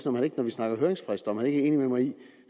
om han ikke når vi snakker høringsfrister er enig med mig i